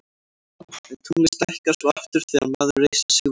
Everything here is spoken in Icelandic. en tunglið stækkar svo aftur þegar maður reisir sig við